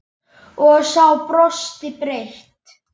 Og sá brosti breitt.